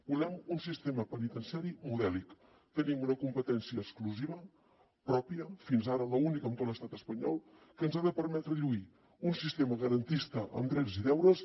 volem un sistema penitenciari modèlic tenim una competència exclusiva pròpia fins ara l’únic en tot l’estat espanyol que ens ha de permetre lluir un sistema garantista en drets i deures